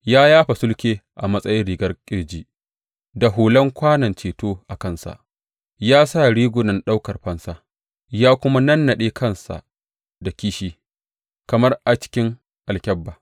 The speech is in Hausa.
Ya yafa sulke a matsayin rigar ƙirji, da hulan kwanon ceto a kansa; ya sa rigunan ɗaukar fansa ya kuma nannaɗe kansa da kishi kamar a cikin alkyabba.